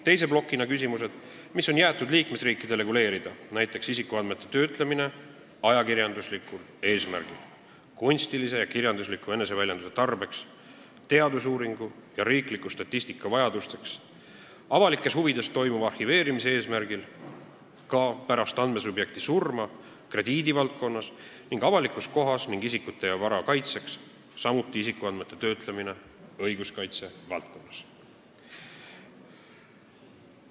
Teises plokis on küsimused, mis on jäetud liikmesriikide reguleerida, näiteks isikuandmete töötlemine ajakirjanduslikul eesmärgil, kunstilise ja kirjandusliku eneseväljenduse tarbeks, teadusuuringu ja riikliku statistika vajadusteks, avalikes huvides toimuva arhiveerimise eesmärgil, pärast andmesubjekti surma, krediidivaldkonnas, avalikus kohas ning isikute ja vara kaitseks, samuti isikuandmete töötlemine õiguskaitse valdkonnas.